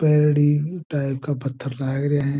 परडी टाइप का पत्थर लाग रहा है।